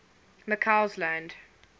mccausland